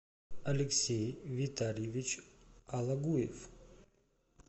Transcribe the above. алексей витальевич алагуев